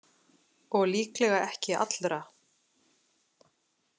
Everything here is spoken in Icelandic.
Og líklega ekki allra.